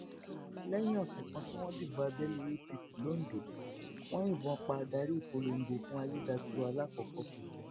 lẹyìn ọsẹ kan tí wọn dìbò abẹlé apc londo wọn yìnbọn pa adarí ìpolongo fún ayédátiwa làkọkọ